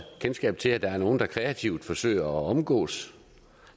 kendskab til at der er nogle der kreativt forsøger at omgå